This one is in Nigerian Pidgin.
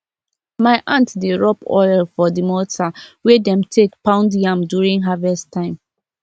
my aunty dey rub oil for the mortar wey dem take pound yam during harvest time